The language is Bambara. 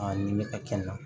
A ni bɛ ka kɛ n na